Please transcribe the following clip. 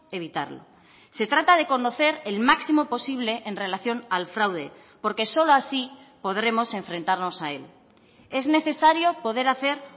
evitarlo se trata de conocer el máximo posible en relación al fraude porque solo así podremos enfrentarnos a él es necesario poder hacer